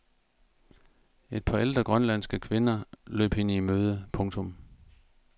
Et par ældre grønlandske kvinder løb hende i møde. punktum